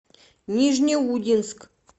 нижнеудинск